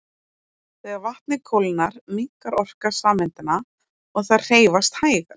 Þegar vatnið kólnar minnkar orka sameindanna og þær hreyfast hægar.